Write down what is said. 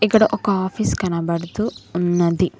ఇక్కడ ఒక ఆఫీస్ కనబడుతూ ఉన్నది.